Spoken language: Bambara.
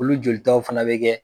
Olu jolitaw fana bɛ kɛ.